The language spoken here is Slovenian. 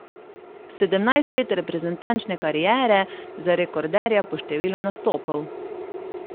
Sedemnajst let reprezentančne kariere za rekorderja po številu nastopov.